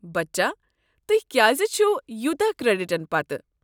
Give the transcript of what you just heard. بچا، تہۍ کیٚاز چھو یوٗتاہ کریڈٹن پتہٕ؟